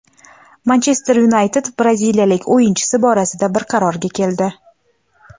"Manchester Yunayted" braziliyalik o‘yinchisi borasida bir qarorga keldi.